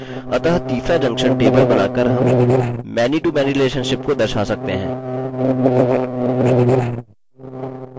अतः तीसरा junction table बनाकर हम manytomany relationships को दर्शा सकते हैं